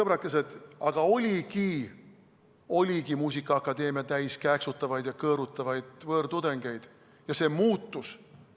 Vaadake, sõbrakesed, oligi muusikaakadeemia täis kääksutavaid ja kõõrutavaid võõrtudengeid, aga see muutus.